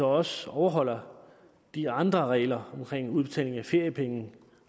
også overholder de andre regler om udbetaling af feriepenge